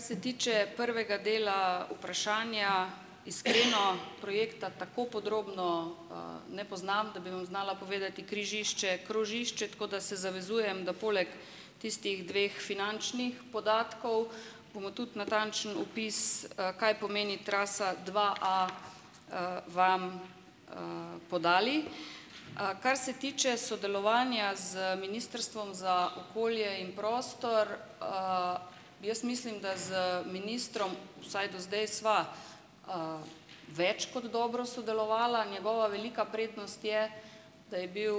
Kar se tiče prvega dela vprašanja, iskreno projekta tako podrobno ne poznam, da bi vam znala povedati križišče, krožišče, tako da se zavezujem, da poleg tistih dveh finančnih podatkov, bomo tudi natančen opis kaj pomeni trasa dva a, vam podali. Kar se tiče sodelovanja z Ministrstvom za okolje in prostor. Jaz mislim, da z ministrom vsaj do zdaj sva, več kot dobro sodelovala. Njegova velika prednost je, da je bil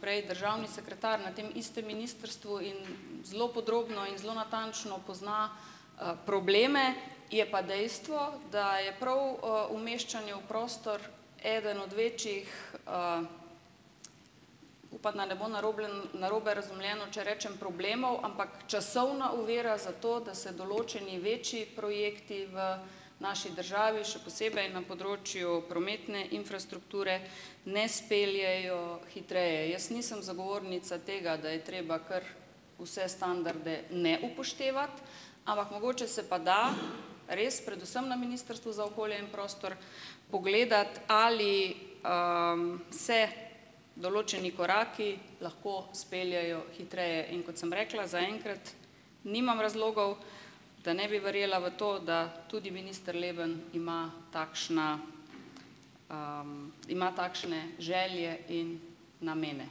prej državni sekretar na tem istem ministrstvu in zelo podrobno in zelo natančno pozna probleme. Je pa dejstvo, da je prav umeščanje v prostor eden od večjih upam, da ne bo naroblen, narobe razumljeno, če rečem "problemov", ampak časovna ovira za to, da se določeni večji projekti v naši državi, še posebej na področju prometne infrastrukture, ne speljejo hitreje. Jaz nisem zagovornica tega, da je treba kar vse standarde ne upoštevati, ampak mogoče se pa da res, predvsem na Ministrstvu za okolje in prostor, pogledati, ali se določeni koraki lahko speljejo hitreje. In kot sem rekla, zaenkrat nimam razlogov, da ne bi verjela v to, da tudi minister Leben ima takšna ima takšne želje in namene.